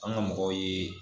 An ga mɔgɔw ye